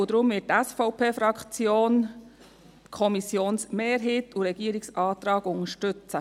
Deshalb wird die SVP-Fraktion die Kommissionsmehrheit und den Regierungsantrag unterstützen.